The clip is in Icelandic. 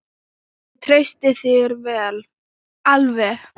Ég treysti þér alveg!